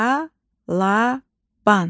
Balaban